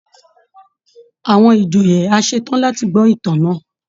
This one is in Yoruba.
Àwọn ìjòyè a ṣe tán láti gbọ́ ìtàn náà